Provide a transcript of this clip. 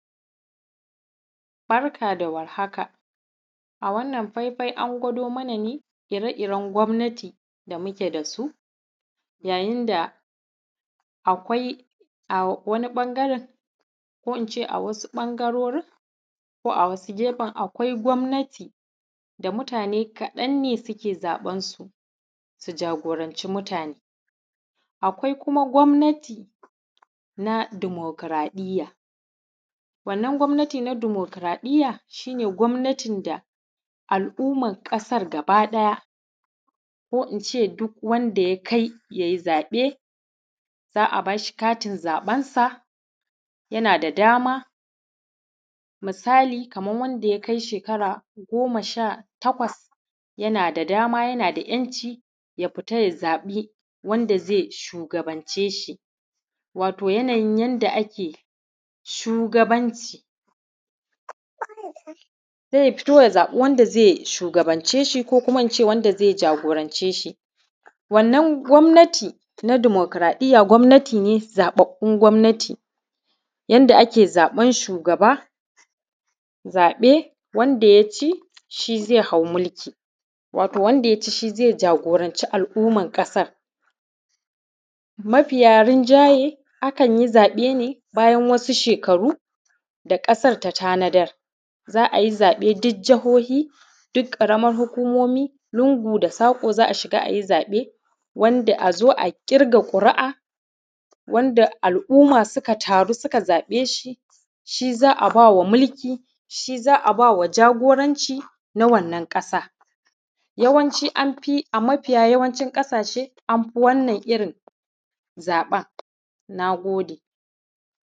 Barka da warhaka a wannan faifai an gwado mana ne ire-iren gwamnati da muke da su yayin da akwai a wani ɓangaren ko in ce a wasu ɓangarorin ko in ce a wasu gefen akwai gwamnati da mutane kaɗan ne ke zaɓan su, su jagornce mutane, akwai kuma gwamnati na demokuraɗiya wannan gwamnati na demokuraɗiya wannan gwamnati na demokuraɗiya shi ne gwamnatin da al’umman ƙasan gabaɗaya ko in ce duk wanda ya kai ya yi zaɓe za a ba shi katin zaben sa yana da dama misali kaman wanda ya kai shekara goma sha takwas, yana da dama yana da ‘yanci ya fita ya zaɓi wanda ze shugabance shi yanayin yanda ake shugabanci, se ya fito ya zaɓi wanda ze shugabance shi ko in ce wanda ze jagorance shi, wannan gwamnati na demokuraɗiya, gwamnati ne zaɓaɓɓun gwamnati yanda ake zaɓan shugaba, zaɓen wanda ya ci shi ze hau mulki wato wanda ya ci shi ze jagoranci al’umman ƙasa. Mafiyarinjaye a kan yi zaɓe ne bayan wasu shekaru da ƙasan ta tanadar za a yi zaɓe duk jahohi duk ƙaraman hukumomi lungu da saƙo za a shiga a yi zaɓe wanda ya zo a ƙirga ƙuri’a wanda al’umma sukan taru suka zaɓe shi, shi za a ba wa mulki shi za a ba wa jagoranci na wanan ƙasa, yawanci an fi ba mafiya yawancin ƙasashe an fi wannna irin zaɓen. Na gode.